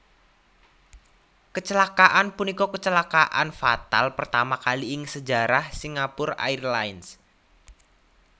Kecelakaan punika kecelakaan fatal pertama kali ing sejarah Singapore Airlines